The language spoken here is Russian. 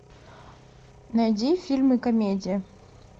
найди фильмы комедии